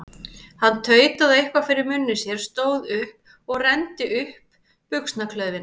Hann tautaði eitthvað fyrir munni sér, stóð upp og renndi upp buxnaklaufinni.